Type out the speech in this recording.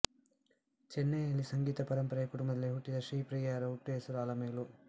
ಚೆನ್ನೈನಲ್ಲಿ ಸಂಗೀತ ಪರಂಪರೆಯ ಕುಟುಂಬದಲ್ಲಿ ಹುಟ್ಟಿದ ಶ್ರೀಪ್ರಿಯಾರ ಹುಟ್ಟುಹೆಸರು ಅಲಮೇಲು